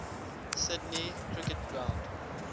sydney cricket ground